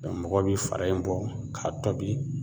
mɔgɔw bi fara in bɔ k'a tɔbi